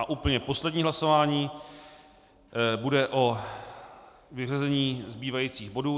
A úplně poslední hlasování bude o vyřazení zbývajících bodů.